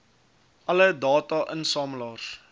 alle data insamelaars